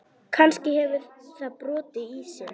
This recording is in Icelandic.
Kannski hefur það brotið ísinn.